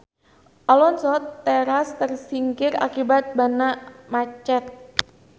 Alonso teras tersingkir akibat banna macet.